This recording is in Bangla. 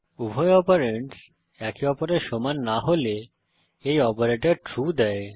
উভয় অপারেন্ডস একে অপরের সমান না হলে এই অপারেটর ট্রু দেয়